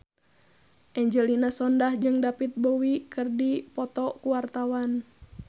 Angelina Sondakh jeung David Bowie keur dipoto ku wartawan